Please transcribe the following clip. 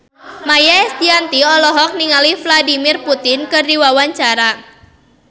Maia Estianty olohok ningali Vladimir Putin keur diwawancara